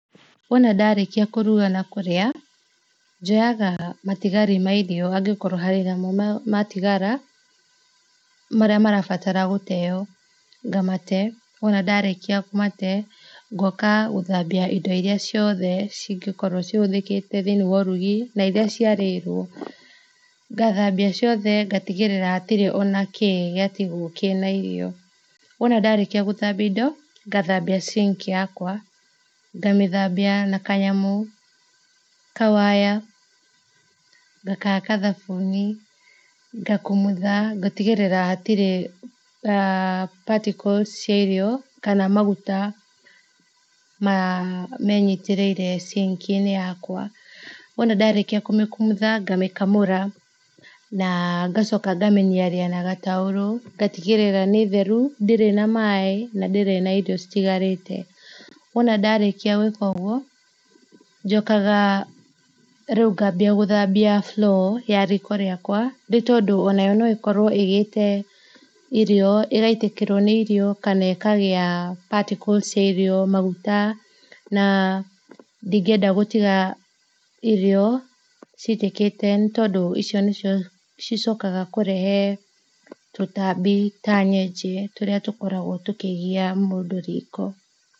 Wona ndarĩkia kũruga na kũrĩa, njoyaga matigari ma irio angĩkorwo harĩ namo matigara marĩa marabatara gũteo ngamate. Wona ndarĩkia kũmate ngoka gũthambia indo iria ciothe cingĩkorwo cihũthĩkĩte thĩini wa ũrugi na iria ciarĩrwo. Ngathambia ciothe ngatigĩrĩra hatirĩ ona kĩ gĩatigwo kĩna irio. Wona narĩkia gũthambia indo, ngathambia sink yakwa, ngamĩthambia na kanyamũ, kawaya, ngakahaka thabuni, ngakumutha ngatigĩrĩra hatirĩ particles cia irio kana maguta menyitĩrĩire sink inĩ yakwa. Wona ndarĩkia kũmĩkumutha ngamĩkamũra na ngacoka ngamĩniaria na gataurũ, ngatigĩrĩr nĩ theru, ndĩrĩ na maĩ na ndĩrĩ na irio citigarĩte. Wona ndarĩkia gwĩka ũguo njokaga rĩu ngambia gũthambia floor ya riko rĩakwa ni tondũ o nayo no ĩkorwo ĩgĩte irio, ĩgaitĩkĩrwo nĩ irio kana ikagĩa particles cia irio, maguta na ndingĩenda gũtiga irio citĩkĩte nĩ tondũ icio nĩcio cicokaga kũrehe tutambi ta nyenje tũrĩa tũkoragwo tũkĩgia mũndũ riko.